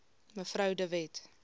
mev de wet